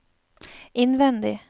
innvendig